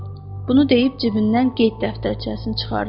Bunu deyib cibindən qeyd dəftərçəsini çıxartdı.